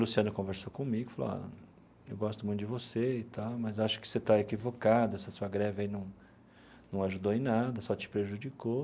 Luciano conversou comigo e falou ó, eu gosto muito de você e tal, mas acho que você está equivocado, essa sua greve aí não não ajudou em nada, só te prejudicou.